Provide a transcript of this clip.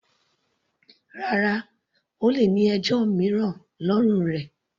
Rárá, O lè ní ẹjọ́ mìíràn lọ́rùn rẹ.